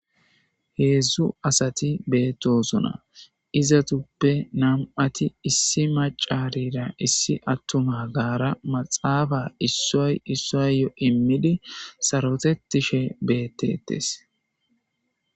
heedzdzu asati beettosona izatuppe nam7ati issi macarira issi attuma gaara maxaafa issoy issoyyo immidi sarotetishe beettetes